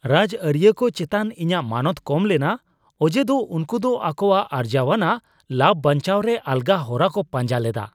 ᱨᱟᱡᱟᱹᱨᱤᱭᱟᱹ ᱠᱚ ᱪᱮᱛᱟᱱ ᱤᱧᱟᱜ ᱢᱟᱱᱚᱛ ᱠᱚᱢ ᱞᱮᱱᱟ ᱚᱡᱮᱫᱚ ᱩᱱᱠᱩ ᱫᱚ ᱟᱠᱚᱣᱟᱜ ᱟᱨᱡᱟᱣᱟᱱᱟᱜ ᱞᱟᱵᱷ ᱵᱟᱧᱪᱟᱣ ᱨᱮ ᱟᱞᱜᱟ ᱦᱚᱨᱟᱠᱚ ᱯᱟᱸᱡᱟ ᱞᱮᱫᱟ ᱾